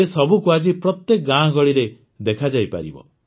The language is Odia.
ଏସବୁକୁ ଆଜି ପ୍ରତ୍ୟେକ ଗାଁଗହଳିରେ ଦେଖାଯାଇପାରିବ